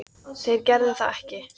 Þeir gerðu það ekki